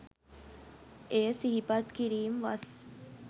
එය සිහිපත් කිරීම් වස්